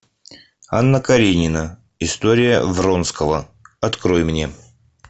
анна каренина история вронского открой мне